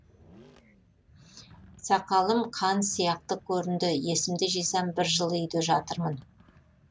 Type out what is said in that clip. сақалым қан сияқты көрінді есімді жисам бір жылы үйде жатырмын